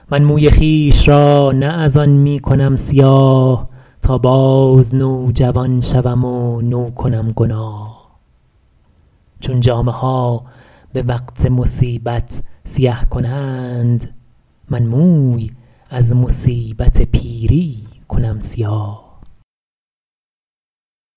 من موی خویش را نه از آن می کنم سیاه تا باز نوجوان شوم و نو کنم گناه چون جامه ها به وقت مصیبت سیه کنند من موی از مصیبت پیری کنم سیاه